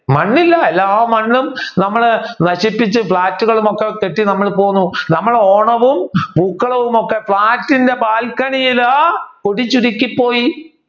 മണ്ണില്ല എല്ലാ മണ്ണും നമ്മളു നശിപ്പിച്ചു ഫ്ലാറ്റുകളും ഒക്കെ കെട്ടി നമ്മൾ പോകുന്നു നമ്മൾ ഓണവും പൂക്കളവും ഒക്കെ ഫ്ലാറ്റിന്റെ ബാൽക്കണിയിലു ചുരുക്കിപ്പോയി